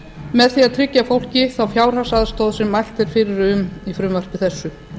með því að tryggja fólki þá fjárhagsaðstoð sem mælt er fyrir um í frumvarpi þessu